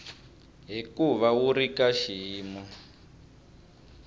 hikuva wu ri ka xiyimo